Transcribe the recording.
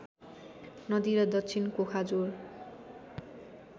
नदी र दक्षिण कोखाजोर